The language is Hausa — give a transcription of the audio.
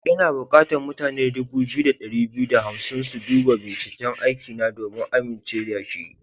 Ina bukatan mutane dubu biyu da dari biyu da hamsin su duba binciken aikina domin a amince da shi.